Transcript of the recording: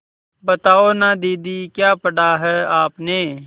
बताओ न दीदी क्या पढ़ा है आपने